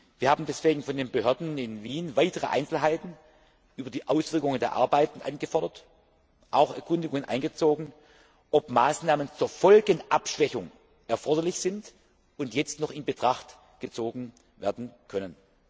Wir haben deswegen von den Behörden in Wien weitere Einzelheiten über die Auswirkungen der Arbeiten angefordert, auch Erkundigungen eingezogen, ob Maßnahmen zur Folgenabschwächung erforderlich sind und jetzt noch in Betracht gezogen werden können.